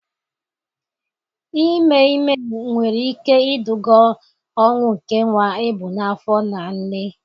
Ime ime nwere ike iduga ọnwụ nke nwa ebu n'afọ na nne.